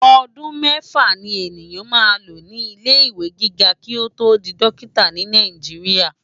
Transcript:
Òdún mèfá ni eniyán má ló ni ilé iwé gigá ki ó tó di Dòkitá ni Náijiriá